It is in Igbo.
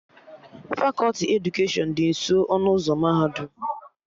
Fakọti edukeshọn dị nso ọnụ ụzọ mahadum